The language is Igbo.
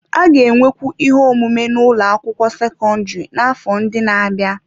A ga-enwekwu ihe omume n'ụlọ akwụkwọ sekọndrị n'afọ ndị na-abịa.